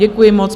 Děkuji moc.